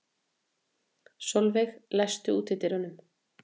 Solveig, læstu útidyrunum.